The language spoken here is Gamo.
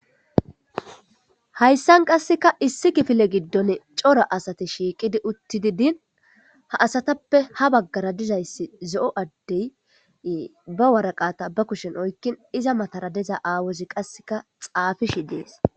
Hayisan qaseka issi kifile gidoni cora asati shiiqidi utidi din ha asatappe ha bagara dizayis deo adde ba waraqata ba kushen oyikin iza matara diza aawazi qaseka xafishe deas.